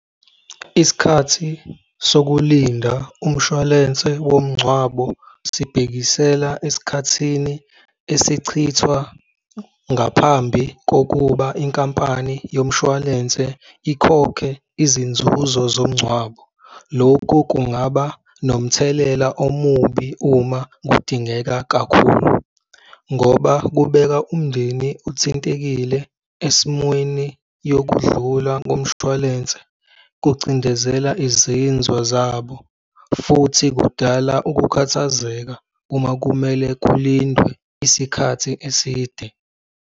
Isikhathi sokulinda umshwalense womngcwabo sibekisela esikhathini esichithwa ngaphambi kokuba inkampani yomshwalense ikhokhe izinzuzo zomngcwabo. Lokhu kungaba nomthelela omubi uma kudingeka kakhulu ngoba kubeka umndeni othintekile esimweni yokudlula komshwalense, kucindezela izinzwa zabo futhi kudala ukukhathazeka uma kumele kulindwe isikhathi eside.